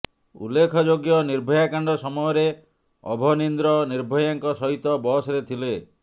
ଉଲ୍ଲେଖଯୋଗ୍ୟ ନିର୍ଭୟା କାଣ୍ଡ ସମୟରେ ଅଭନିନ୍ଦ୍ର ନିର୍ଭୟାଙ୍କ ସହିତ ବସରେ ଥିଲେ